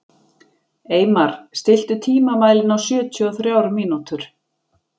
Eymar, stilltu tímamælinn á sjötíu og þrjár mínútur.